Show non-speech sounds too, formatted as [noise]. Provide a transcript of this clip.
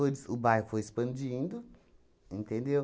[unintelligible] o bairro foi expandindo, entendeu?